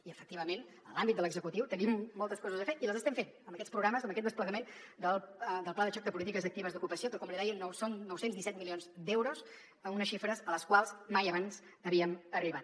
i efectivament en l’àmbit de l’executiu tenim moltes coses a fer i les estem fent amb aquests programes amb aquest desplegament del pla de xoc de polítiques actives d’ocupació que com li deia són nou cents i disset milions d’euros unes xifres a les quals mai abans havíem arribat